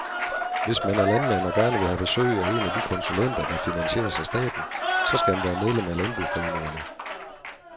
Hvis man er landmand og gerne vil have besøg af en af de konsulenter, der finansieres af staten, så skal man være medlem af landboforeningerne.